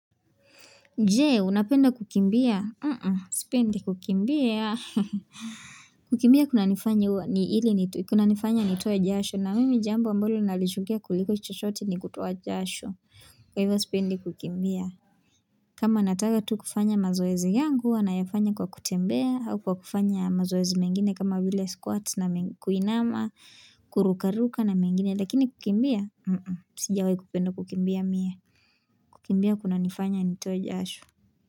Jee, unapenda kukimbia? Sipende kukimbia. Kukimbia kunanifanya huwa kunanifanya nitoe jasho na mimi jambo ambalo nalichukia kuliko chuchote ni kutowa jasho. Kwa hivyo sipende kukimbia. Kama nataka tu kufanya mazoezi yangu, huwa nayafanya kwa kutembea, au kwa kufanya mazoezi mengine kama bila squats na kuinama, kurukaruka na mengine. Lakini kukimbia, sijawahi kupenda kukimbia mie kukimbia kuna nifanya ni toa jashu.